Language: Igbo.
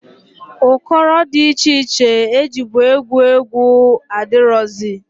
Ụkọrọ dị iche iche e jibu egwu egwu adịrọzị.